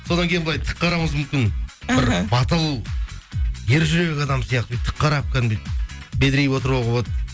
содан кейін былай тік қарауыңыз мүмкін батыл ержүрек адам сияқты тік қарап кәдімгідей бедірейіп отыруға болады